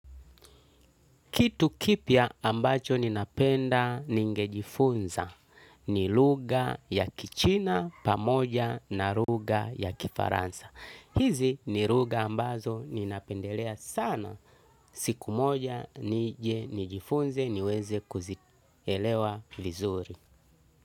Kitu kipya ambacho ninapenda ningejifunza ni lugha ya kichina pamoja na lugha ya kifaransa. Hizi ni lugha ambazo ninapendelea sana. Siku moja nijifunze niweze kuzielewa vizuri.